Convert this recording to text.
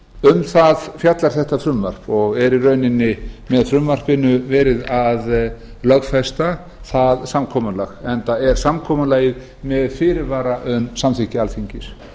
um það fjallar þetta frumvarp og er í rauninni með frumvarpinu verið að lögfesta það samkomulag enda er samkomulagið með fyrirvara um samþykki alþingis